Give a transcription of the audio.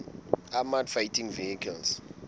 armoured fighting vehicles